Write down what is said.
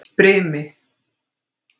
Brimi